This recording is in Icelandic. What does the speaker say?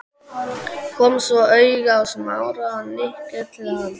Kom svo auga á Smára og nikkaði til hans.